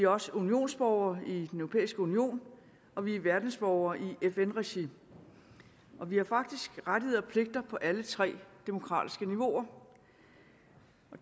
også unionsborgere i den europæiske union og vi er verdensborgere i fn regi og vi har faktisk rettigheder og pligter på alle tre demokratiske niveauer